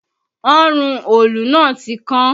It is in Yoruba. Ọrùn òòlù náà ti kan